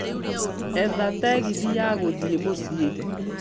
etha tegithĨ ya gũthiĩ muciĩ